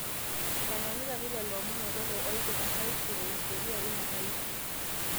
eitanyanyukaki lelo omon o lelo ooipirta tuaishu o hisoria ina tuaishu